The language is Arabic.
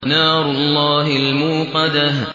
نَارُ اللَّهِ الْمُوقَدَةُ